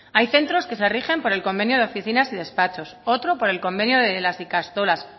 hay centros que se rigen por el convenio de oficinas y despachos otro por el convenio de las ikastolas